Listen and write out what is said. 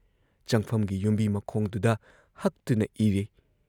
ꯆꯪꯐꯝꯒꯤ ꯌꯨꯝꯕꯤ ꯃꯈꯣꯡꯗꯨꯗ ꯍꯛꯇꯨꯅ ꯏꯔꯤ‑